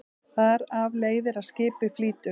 Þar af leiðir að skipið flýtur.